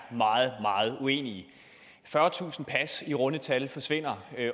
meget meget uenige fyrretusind pas i runde tal forsvinder